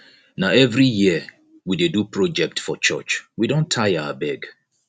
na every year we dey do project for church we don tire abeg